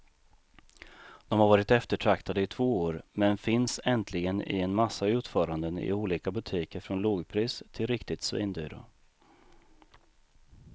De har varit eftertraktade i två år, men finns äntligen i en massa utföranden i olika butiker från lågpris till riktigt svindyra.